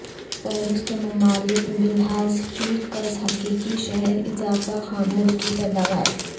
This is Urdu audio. فہرست ممالک بلحاظ فی کس حقیقی شرح اضافہ خام ملکی پیداوار